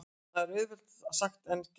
En það er auðveldara sagt en gert.